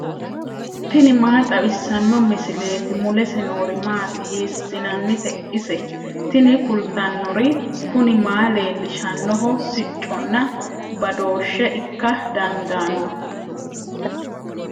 tini maa xawissanno misileeti ? mulese noori maati ? hiissinannite ise ? tini kultannori kuni maa leellishshannoho sicconna badooshshe ikka dandaanno